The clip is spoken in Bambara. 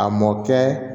A mɔ kɛ